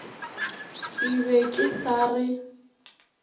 ke be ke sa re